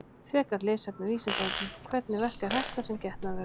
Frekara lesefni á Vísindavefnum: Hvernig verkar hettan sem getnaðarvörn?